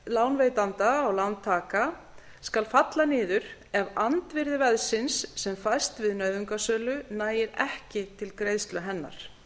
lánveitanda á lántaka skal falla niður ef andvirði veðsins sem fæst við nauðungarsölu nægir ekki til greiðslu hennar